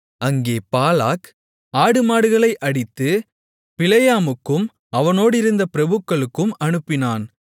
அங்கே பாலாக் ஆடுமாடுகளை அடித்து பிலேயாமுக்கும் அவனோடிருந்த பிரபுக்களுக்கும் அனுப்பினான்